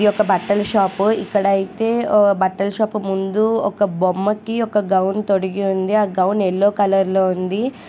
ఇది ఒక బట్టల షాపు ఇక్కడ అయితే ఓ బట్టల షాపు ముందు ఒక బొమ్మకి ఒక గౌను తొడిగి ఉంది. ఆ గౌను యెల్లో కలర్ లో ఉంది.